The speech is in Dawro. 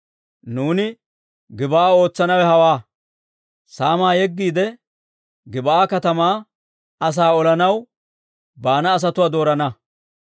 Nuuni Gib'aa ootsanawe hawaa; saamaa yeggiide, Gib'aa katamaa asaa olanaw baana asatuwaa doorana.